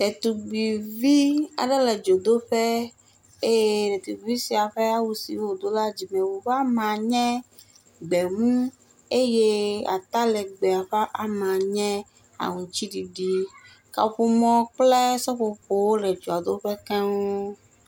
Ɖetugbuivi aɖe le dzodoƒe eye ɖetugbui sia ƒe awu si wòdo la nye gbemu eye ata legbe ƒe ama nye aŋutididi, kaƒomɔ kple seƒoƒowo le dzoadoƒe keŋ.